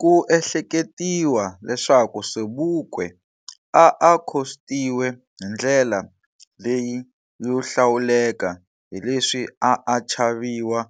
Ku ehleketiwa leswaku Sobukwe a a khostiwe hindlela leyi yo hlawuleka hileswi a a chaviwa